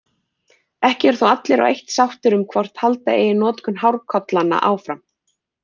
Ekki eru þó allir á eitt sáttir um hvort halda eigi notkun hárkollanna áfram.